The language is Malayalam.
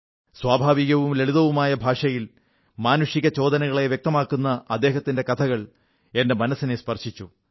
സ്വാഭാവികവും ലളിതവുമായ ഭാഷയിൽ മാനുഷിക സംവേദനകളെ വ്യക്തമാക്കുന്ന അദ്ദേഹത്തിന്റെ കഥകൾ എന്റെ മനസ്സിനെ സ്പർശിച്ചു